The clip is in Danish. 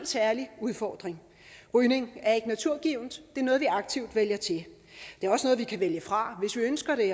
særlig udfordring rygning er ikke naturgivent det er noget vi aktivt vælger til det er også noget vi kan vælge fra hvis vi ønsker det